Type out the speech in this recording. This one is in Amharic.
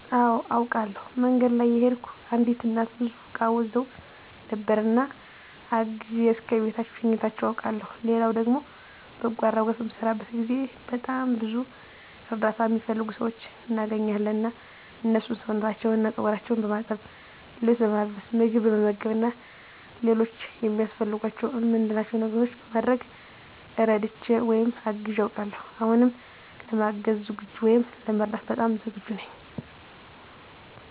አወ አውቃለሁ። መንገድ ላይ እየሄድኩ አንዲት እናት ብዙ እቃ ይዘው ነበር እና አግዤ እስከ ቤታቸው ሸኝቻቸው አውቃለሁ ሌላው ደግሞ በጎ አድራጎት በምሰራበት ጊዜ በጣም ብዙ እርዳታ እሚፈልጉ ሰዎች እናገኛለን እና እነሱን ሰውነታቸውን እና ፀጉራቸውን በማጠብ፣ ልብስ በማልበስ፣ ምግብ በመመገብ እና ሌሎች ያስፈልጓቸዋል እምንላቸው ነገሮች በማድረግ እረድቼ ወይም አግዤ አውቃለሁ። አሁንም ለማገዝ ወይም ለመርዳት በጣም ዝግጁ ነኝ።